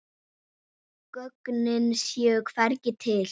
Gögnin séu hvergi til.